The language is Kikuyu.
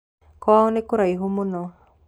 Kwao nĩkũraihu mũno.